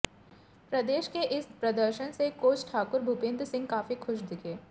प्रदेश के इस प्रदर्शन से कोच ठाकुर भूपिंद्र सिंह काफी खुश दिखे